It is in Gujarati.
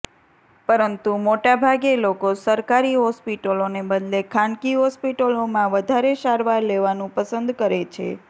પરંતુ મોટાભાગે લોકો સરકારી હોસ્પીટલોને બદલે ખાનગી હોસ્પીટલોમાં વધારે સારવાર લેવાનુ પસંદ કરે છે